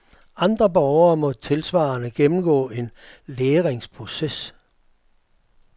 Andre borgere må tilsvarende gennemgå en læringsproces.